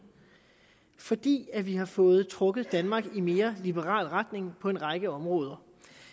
fordi vi har fået trukket danmark i en mere liberal retning på en række områder